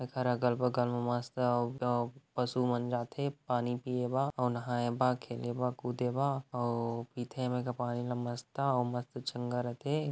ऐखर अगल-बगल मस्त ह हउ_अउ पशु मन जाथे पानी पिए बा अउ नहाए बा खेले बा कूदे बा अउ पिथे ए मे के पानी मस्त ह अउ मस्त चंगा रथे।